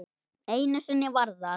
Einu sinni var það